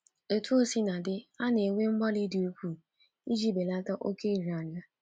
Otú o sina dị, a na-eme mgbalị dị ukwuu iji belata oke nria nria.